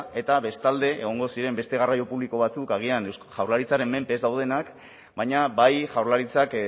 eta bestalde egongo ziren beste garraio publiko batzuk agian eusko jaurlaritzaren mende ez daudenak baina bai jaurlaritzak